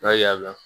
N'a y'a la